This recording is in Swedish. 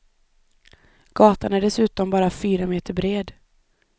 Gatan är dessutom bara fyra meter bred.